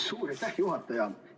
Suur aitäh, juhataja!